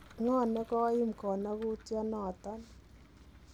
Ng'oo negoiim konogutionoton.